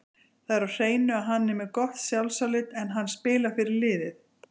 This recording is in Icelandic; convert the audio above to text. Það er á hreinu að hann er með gott sjálfsálit, en hann spilar fyrir liðið.